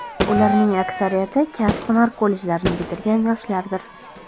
Ularning aksariyati kasb-hunar kollejlarini bitirgan yoshlardir.